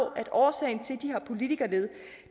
at årsagen til at de har politikerlede